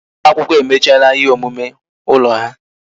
Ụmụ akwụkwọ emechala ihe omume ụlọ ha